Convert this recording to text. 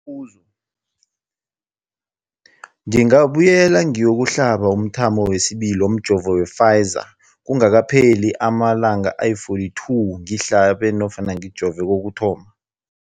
Umbuzo, ngingabuyela ngiyokuhlaba umthamo wesibili womjovo we-Pfizer kungakapheli ama-42 wamalanga ngihlabe namkha ngijove kokuthoma.